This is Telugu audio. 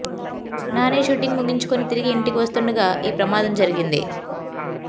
నాని షూటింగ్ ముగించుకుని తిరిగి ఇంటికి వస్తుండగా ఈ ప్రమాదం జరిగింది